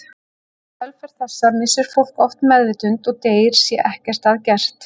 Í kjölfar þessa missir fólk oft meðvitund og deyr sé ekkert að gert.